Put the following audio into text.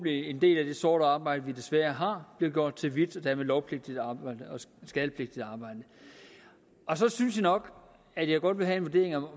en del af det sorte arbejde vi desværre har bliver gjort til hvidt og dermed skattepligtigt arbejde så synes jeg nok at jeg godt vil have en vurdering af